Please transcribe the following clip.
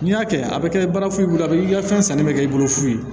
N'i y'a kɛ a bɛ kɛ baara foyi bolo a i ka fɛn sanni bɛ kɛ i bolo fu ye